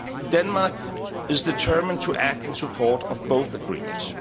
Denmark is determined to act in support of both agreements.